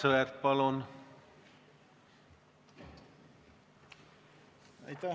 Aivar Sõerd, palun!